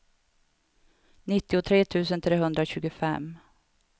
nittiotre tusen trehundratjugofem